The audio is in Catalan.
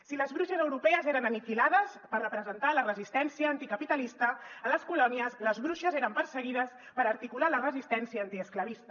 si les bruixes europees eren aniquilades per representar la resistència anticapitalista a les colònies les bruixes eren perseguides per articular la resistència antiesclavista